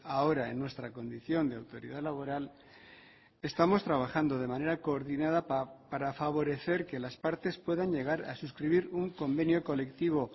ahora en nuestra condición de autoridad laboral estamos trabajando de manera coordinada para favorecer que las partes puedan llegar a suscribir un convenio colectivo